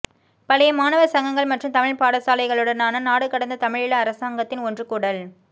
பழைய மாணவர் சங்கங்கள் மற்றும் தமிழ் பாடசாலைகளுடனான நாடுகடந்த தமிழீழ அரசாங்கத்தின் ஒன்றுகூடல்